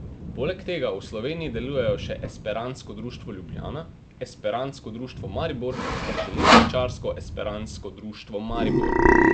Poleg tega v Sloveniji delujejo še Esperantsko društvo Ljubljana, Esperantsko društvo Maribor ter Železničarsko esperantsko društvo Maribor.